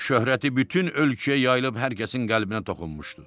Şöhrəti bütün ölkəyə yayılıb hər kəsin qəlbinə toxunmuşdu.